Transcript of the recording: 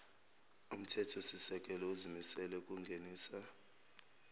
umthethosisekelo uzimisele ukungenisa